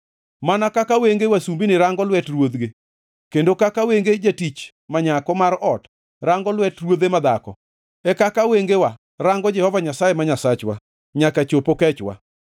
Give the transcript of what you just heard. Mana kaka wenge wasumbini rango lwet ruodhgi, kendo kaka wenge jatich ma nyako mar ot rango lwet ruodhe madhako, e kaka wengewa rango Jehova Nyasaye ma Nyasachwa nyaka chop okechwa.